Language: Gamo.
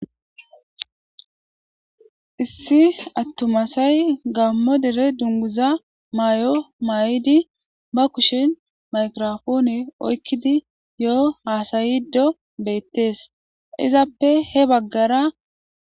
issi attumasay gaammo dere dunguza may7o may7idi ba kushen maykirofoone oykkidi yo7o haasayido beettees izappe he baggara